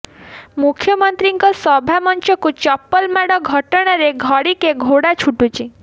ମୁଖ୍ୟମନ୍ତ୍ରୀଙ୍କ ସଭା ମଞ୍ଚକୁ ଚପଲ ମାଡ଼ ଘଟଣାରେ ଘଡ଼ିକେ ଘୋଡ଼ା ଛୁଟୁଛି